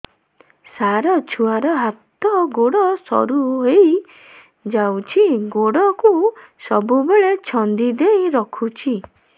ସାର ଛୁଆର ହାତ ଗୋଡ ସରୁ ହେଇ ଯାଉଛି ଗୋଡ କୁ ସବୁବେଳେ ଛନ୍ଦିଦେଇ ରଖୁଛି